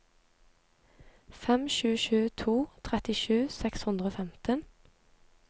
fem sju sju to trettisju seks hundre og femten